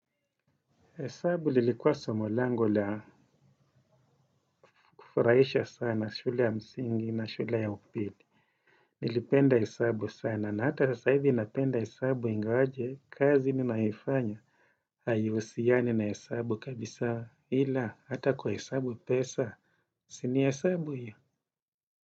Hesabu lilikuwa somo langu la kufurahisha sana shule ya msingi na shule ya upili. Nilipenda hesabu sana na hata sasa hivi napenda hesabu ingawaje kazi ninayoifanya. Haihusiani na hesabu kabisa ila hata kuhesabu pesa si ni hesabu hiyo?